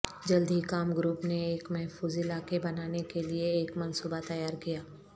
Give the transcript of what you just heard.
جلد ہی کام گروپ نے ایک محفوظ علاقے بنانے کے لئے ایک منصوبہ تیار کیا